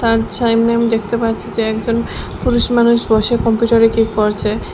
আমি দেখতে পাচ্ছি যে একজন পুরুষ মানুষ বসে কম্পিউটারে কী করছে।